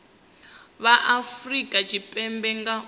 vha afurika tshipembe nga u